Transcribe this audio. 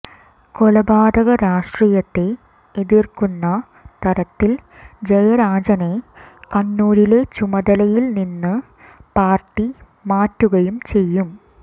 കൊലപാതകരാഷ്ട്രീയത്തെ എതിർക്കുന്ന തരത്തിൽ ജയരാജനെ കണ്ണൂരിലെ ചുമതലയിൽ നിന്ന് പാർട്ടി മാറ്റുകയും ചെയ്യും